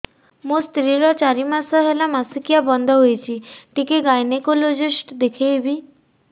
ମୋ ସ୍ତ୍ରୀ ର ଚାରି ମାସ ମାସିକିଆ ବନ୍ଦ ହେଇଛି ଟିକେ ଗାଇନେକୋଲୋଜିଷ୍ଟ ଦେଖେଇବି